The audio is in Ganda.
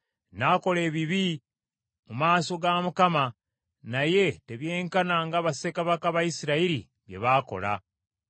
N’akola ebibi mu maaso ga Mukama , naye tebyenkana nga bassekabaka ba Isirayiri bye baakola.